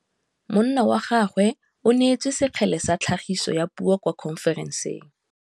Monna wa gagwe o neetswe sekgele sa tlhagisô ya puo kwa khonferenseng.